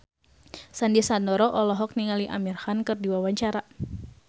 Sandy Sandoro olohok ningali Amir Khan keur diwawancara